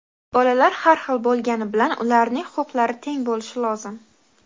Bolalar har xil bo‘lgani bilan ularning huquqlari teng bo‘lishi lozim.